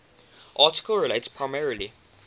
article relates primarily